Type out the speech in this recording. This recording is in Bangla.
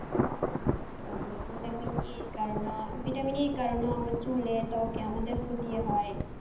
তারপরে vitamin E র কারণও vitamin E র কারণও আমার চুলে ত্বকে আমাদের ক্ষতি হয়।